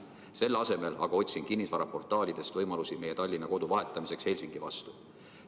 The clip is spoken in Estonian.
Selle asemel aga otsin kinnisvaraportaalidest võimalusi meie Tallinna kodu vahetamiseks Helsingi vastu.